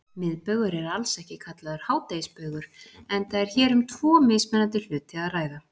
Miðbaugur er alls ekki kallaður hádegisbaugur enda er hér um tvo mismunandi hluti að ræða.